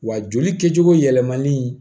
Wa joli kɛcogo yɛlɛmali